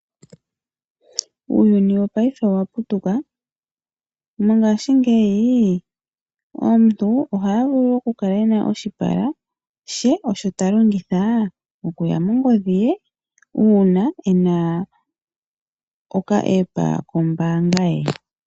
Uuyuni wopaife owaputuka . Mongashingeyi omuntu ohaya vulu okukala ena oshipala she osho talongitha okuya mongodhi ye uuna ena ena okaApp ke mongodhi.